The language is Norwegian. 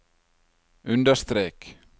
understrek